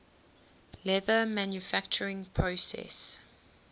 leather manufacturing process